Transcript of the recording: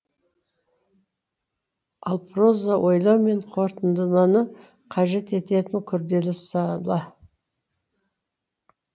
ал проза ойлау мен қорытындыны қажет ететін күрделі сала